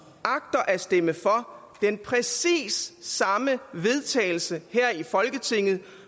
agter at stemme for den præcis samme vedtagelse i folketinget